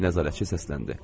Nəzarətçi səsləndi.